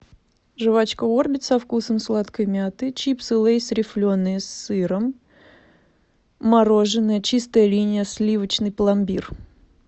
жвачка орбит со вкусом сладкой мяты чипсы лейс рифленые с сыром мороженое чистая линия сливочный пломбир